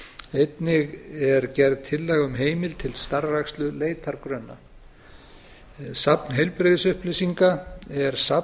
einnig er gerð tillaga um heimild til starfrækslu leitargrunna safn heilbrigðisupplýsinga er safn